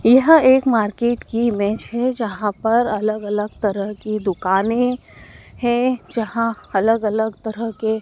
यह एक मार्केट की इमेज है जहां पर अलग अलग तरह की दुकाने हैं जहां अलग अलग तरह के --